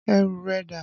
Ẹrù rẹ dà?